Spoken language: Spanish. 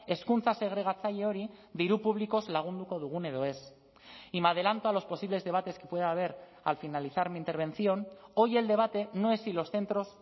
hezkuntza segregatzaile hori diru publikoz lagunduko dugun edo ez y me adelanto a los posibles debates que pueda haber al finalizar mi intervención hoy el debate no es si los centros